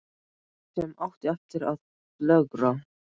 Líf sem átti eftir að flögra.